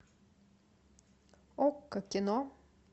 окко кино